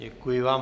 Děkuji vám.